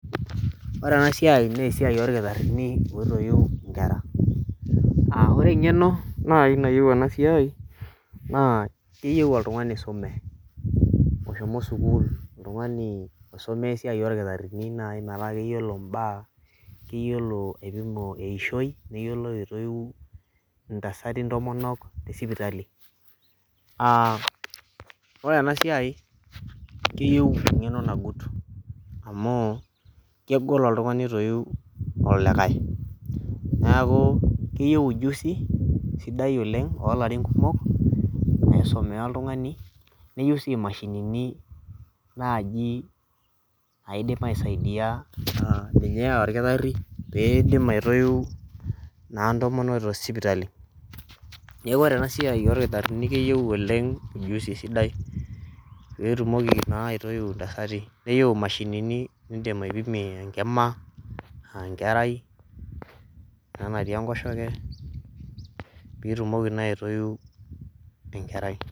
ore ena siai naa esiiai orkitarini oitoiu inkera. ore engeno nayieu ena siai, keyieu oltungani oisume, oshomo sukuul. oltungani oisomea esiai olkitarini metaa keyiolo mbaa, keyiolo aipimo eishoi, neyiolo aitoyiu intasati ntomonok tesipitali.aa ore ena siai, keyieu engeno nagut amu kegol oltungani oitoiu olikae, neeku keyiue, ujusi sidai oleng oolarin kumok, naisumia oltungani, neyieu sii imashinini naaji naidim aisaidia ninye olkitari, pee idim aitoiu naa intomonok tesipiatali. neeku oree ena siai olkitarini keyieu ujusi sidai pee itumoki naa aitoiu intasati, neyieu imashini nimpimie enkima aa enkerai ena natii enkoshoke. pee itumoki naa aitoiu enkerai.